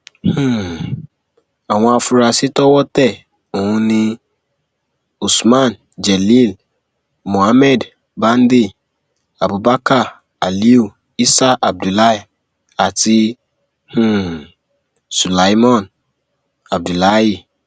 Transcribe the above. um àwọn afuarasí towó tẹ òhún ni usman jelil muhammed bande abubakar aliu isah abdullahi àti um sülaiman abdulahi